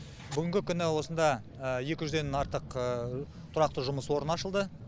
бүгінгі күні осында екі жүзден артық тұрақты жұмыс орны ашылды